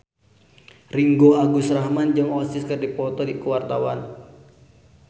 Ringgo Agus Rahman jeung Oasis keur dipoto ku wartawan